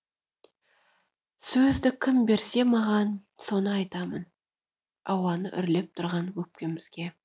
сөзді кім берсе маған соны айтамын ауаны үрлеп тұрған өкпемізге